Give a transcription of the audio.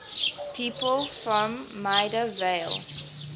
people from maida vale